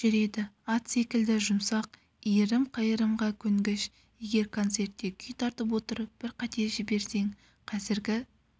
жүреді ат секілді жұмсақ иірім-қайырымға көнгіш егер концертте күй тартып отырып бір қате жіберсең қазіргі